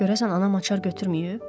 Görəsən anam açar götürməyib?